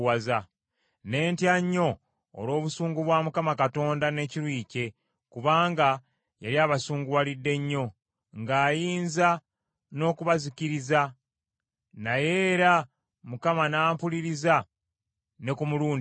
Ne ntya nnyo olw’obusungu bwa Mukama Katonda n’ekiruyi kye, kubanga yali abasunguwalidde nnyo ng’ayinza n’okubazikiriza. Naye era Mukama n’ampuliriza ne ku mulundi ogwo.